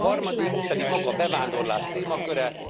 A harmadik pedig maga a bevándorlás témaköre.